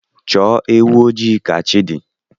Chọọ ewu ojii ka chi dị